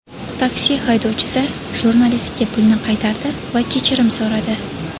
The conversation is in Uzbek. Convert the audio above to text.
Taksi haydovchisi jurnalistga pulni qaytardi va kechirim so‘radi.